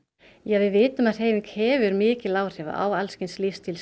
við vitum að hreyfing hefur mikil áhrif á alls kyns